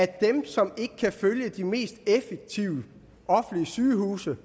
dem som ikke kan følge de mest effektive offentlige sygehuse